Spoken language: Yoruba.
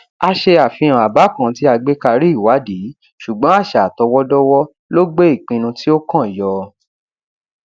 a ṣe àfihàn àbá kan tí a gbé karí ìwádìí ṣùgbọn àṣà àtọwọdọwọ ló gbé ìpinnu tí ó kàn yọ